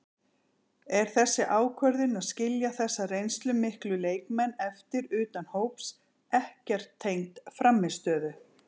Er þessi ákvörðun að skilja þessa reynslumiklu leikmenn eftir utan hóps ekkert tengd frammistöðu?